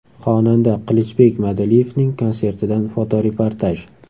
Xonanda Qilichbek Madaliyevning konsertidan fotoreportaj.